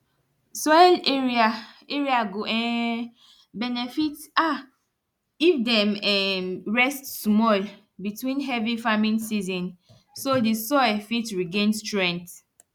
soil area area go um benefit um if dem um rest small between heavy farming season so di soil fit regain strength